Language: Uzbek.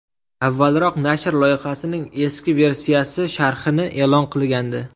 Avvalroq nashr loyihaning eski versiyasi sharhini e’lon qilgandi .